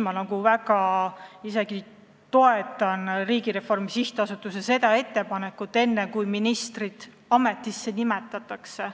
Ma toetan väga Riigireformi Sihtasutuse ettepanekut, et enne kui minister ametisse nimetatakse,